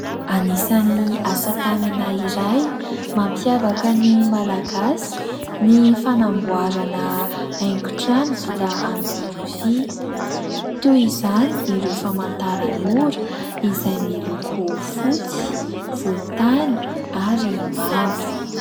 Anisan'ny asatanana iray mampiavaka ny Malagasy ny fanamboarana haingo trano vita amin'ny rofia ; toy izany ireo famantaran'ora izay miloko fotsy, volontany ary mavo.